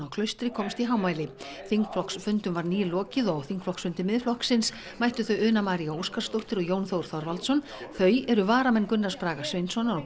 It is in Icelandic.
Klaustri komst í hámæli þingflokksfundum var nýlokið og á þingflokksfund Miðflokksins mættu þau Una María Óskarsdóttir og Jón Þór Þorvaldsson þau eru varamenn Gunnars Braga Sveinssonar og